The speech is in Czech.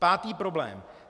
Pátý problém.